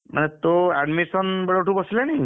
ମାନେ ତୋ admission ବେଳଠୁ ବସିଲାଣି?